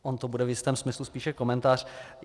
On to bude v jistém smyslu spíše komentář.